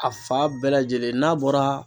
A fan bɛɛ lajɛlen n'a bɔra